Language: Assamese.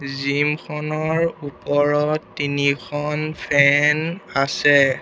জিম খনৰ ওপৰত তিনিখন ফেন আছে।